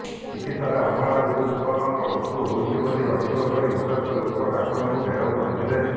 ଚିକିତ୍ସାରେ ଅବହେଳା ଯୋଗୁଁ ଯୁବକଙ୍କ ମୃତ୍ୟୁ ହୋଇଛି ବୋଲି ଅଭିଯୋଗ କରି ଉତ୍ତ୍ୟକ୍ତଲୋକେ ଡାକ୍ତରଙ୍କୁ ଘେରାଉ କରିଥିଲେ